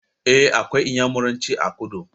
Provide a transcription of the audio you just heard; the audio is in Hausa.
Eh, akwai iyamuranci a kudu